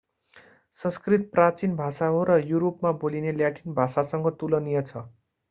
संस्कृत प्राचिन भाषा हो र युरोपमा बोलिने ल्याटिन भाषासँग तुलनीय छ